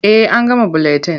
Eh an gama buletin.